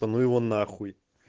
та ну его на хуй